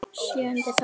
Sjöundi þáttur